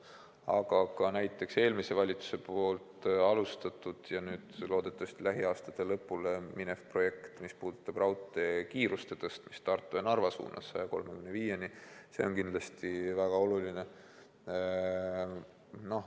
Aga ka eelmise valitsuse alustatud ja loodetavasti lähiaastatel lõpule jõudev projekt, mis puudutab raudteekiiruse tõstmist Tartu ja Narva suunas 135 kilomeetrini tunnis on kindlasti väga oluline.